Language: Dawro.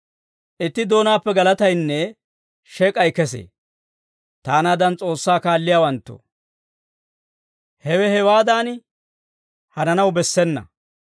Itti doonaappe galataynne shek'ay kesee. Taanaadan S'oossaa kaalliyaawanttoo, hewe hewaadan hananaw bessena.